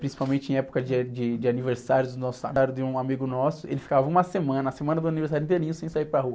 principalmente em época de a, de, de aniversário. Trazia um amigo nosso, ele ficava uma semana, a semana do aniversário inteirinho, sem sair para rua.